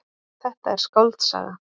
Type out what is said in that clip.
Þetta er skáldsaga.